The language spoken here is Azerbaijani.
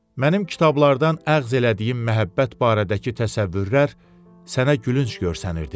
Mənim kitablardan əğz elədiyim məhəbbət barədəki təsəvvürlər sənə gülünc görsənirdi.